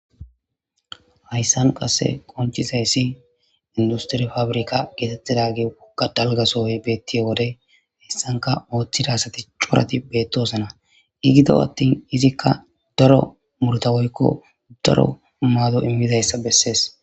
Hayssan qasse qonccidayssi industire fabirkka geetetidaage wogga dalgga sohoy betiyo wode hessankka oothida asati corati beetosona. I gido attin izikka daro muruta woykko daro maado immidiyayssa besees.